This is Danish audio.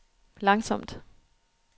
langsomt